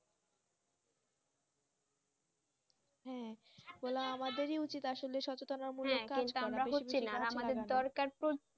হু ওগুলা আমাদের উচিত আসলে সচেতন